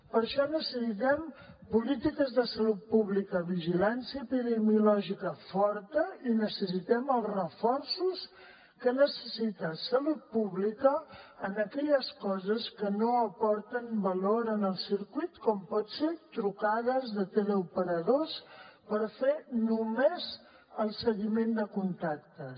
per això necessitem polítiques de salut pública vigilància epidemiològica forta i necessitem els reforços que necessita salut pública en aquelles coses que no aporten valor al circuit com poden ser trucades de teleoperadors per fer només el seguiment de contactes